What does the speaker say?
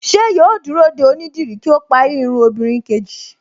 Ṣé yóò dúró de onídìrí kí ó parí irun obìnrin kejì